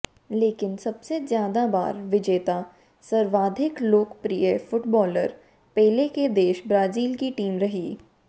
लेकिन सबसे ज्यादा बार विजेता सर्वाधिक लोकप्रिय फुटबालर पेले के देश ब्राजील की टीम रही